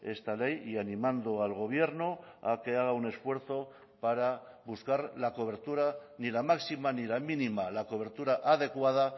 esta ley y animando al gobierno a que haga un esfuerzo para buscar la cobertura ni la máxima ni la mínima la cobertura adecuada